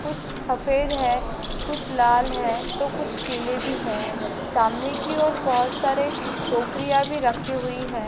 कुछ सफेद है कुछ लाल है तो कुछ पीले भी है सामने की ओर बोहोत सारे टोकरियाँ भी रखी हुई हैं।